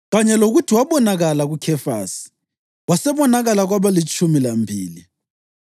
kanye lokuthi wabonakala kuKhefasi, wasebonakala kwabalitshumi lambili.